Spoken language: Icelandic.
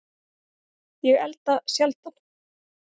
Ég elda sjaldan